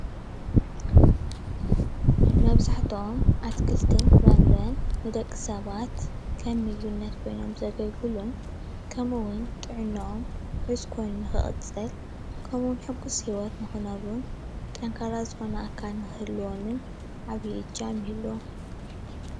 መብዛሕትኦም ኣትክልትን ፍራምረን ንደቂ ሰባት ከም ምግብነት ኮይኖም ዘገልግሉን ከምኡውን ጥዕንኦም ውሕስ ኮይኑ ንክቅፅል ከምኡውን ሕጉስ ሂወት ንክነብሩን ጠንካራ ዝኮነ ኣካል ንክህልዎምን ዓብይ እጃም ይህልዎ፡፡